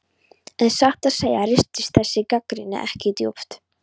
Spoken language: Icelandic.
En satt að segja ristir þessi gagnrýni ekki djúpt.